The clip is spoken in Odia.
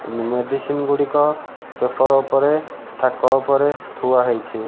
ମେଡ଼ିସିନ୍ ଗୁଡ଼ିକ ପେପର ଓପରେ ଥାକ ଓପରେ ଥୁଆ ହେଇଛି।